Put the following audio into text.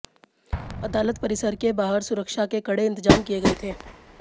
अदालत परिसर के बाहर सुरक्षा के कड़े इंतजाम किये गये थे